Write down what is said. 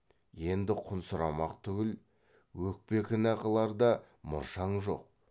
енді құн сұрамақ түгіл өкпе кінә қылар да мұршаң жоқ